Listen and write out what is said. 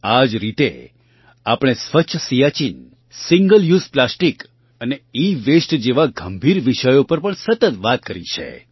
આ જ રીતે આપણે સ્વચ્છ સિયાચિન સિંગલ યુએસઇ પ્લાસ્ટિક અને ઇવાસ્ટે જેવા ગંભીર વિષયો પર પણ સતત વાત કરી છે